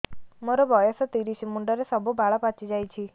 ମୋର ବୟସ ତିରିଶ ମୁଣ୍ଡରେ ସବୁ ବାଳ ପାଚିଯାଇଛି